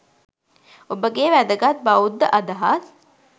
ඔබගේ වැදගත් බෞද්ධ අදහස්